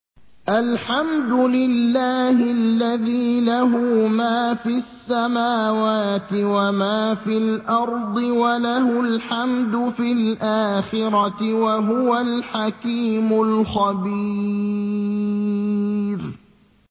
الْحَمْدُ لِلَّهِ الَّذِي لَهُ مَا فِي السَّمَاوَاتِ وَمَا فِي الْأَرْضِ وَلَهُ الْحَمْدُ فِي الْآخِرَةِ ۚ وَهُوَ الْحَكِيمُ الْخَبِيرُ